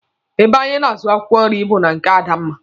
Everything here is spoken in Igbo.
Ebe anyị na-azụ akwụkwọ nri bụ na nke Adanna.